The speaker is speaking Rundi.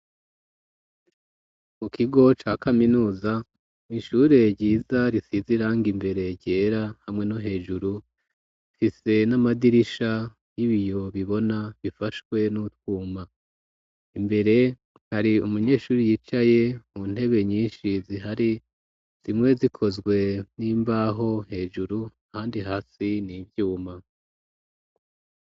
Mu kigo ca kaminuza, mw' ishure ryiza risize irangi imbere ryera hamwe no hejuru. Ifise n'amadirisha y'ibiyo bibona bifashwe n'utwuma. Imbere hari umunyeshuri yicaye mu ntebe nyinshi zihari, zimwe zikozwe n'imbaho hejuru handi hasi n' ivyuma.